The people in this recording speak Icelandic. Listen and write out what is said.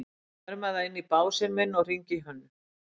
Ég fer með það inn á básinn minn og hringi í Hönnu.